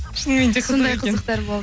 шынымен де сондай қызықтар болды